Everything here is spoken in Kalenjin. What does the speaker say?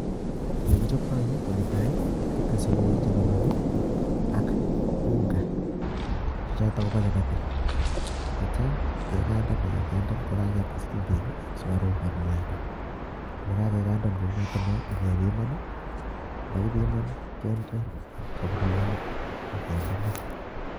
Olekichoptoi nii konetaa kitese Beek chelolong ak unga choton kobo chapati akityo kekandan kekandan ko kites chumbik ak sukaruk ak mwaita, yekakendan kounoton non ak kebiman, yekibiman kinde soburionik ak kinde maa.